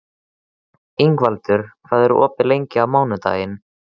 Ingvaldur, hvað er opið lengi á mánudaginn?